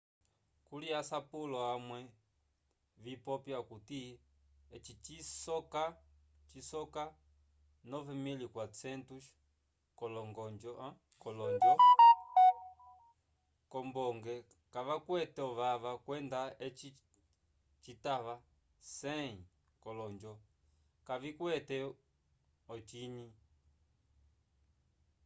kuli asapulo amwe vipopya okuti eci cisoka 9400 k'olonjo k'ombonge kavakwete ovava kwenda eci citava 100 k'olonjo kavikwete ocinyi